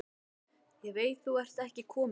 Ég veit þú ert ekki kominn.